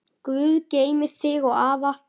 Guð geymi þig og afa.